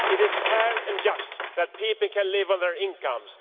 It is fair and just that people can live on their incomes.